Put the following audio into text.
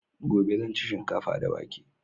Gobe zan ci shinkafa da wake